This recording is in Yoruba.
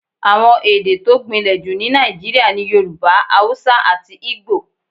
Àwọn èdè tó gbìnlè jù ní Nàìjíríà ni Yorùbá, Haúsá àti Igbo.